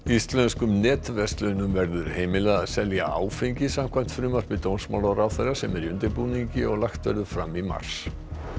Íslenskum netverslunum verður heimilað að selja áfengi samkvæmt frumvarpi dómsmálaráðherra sem er í undirbúningi og lagt verður fram í mars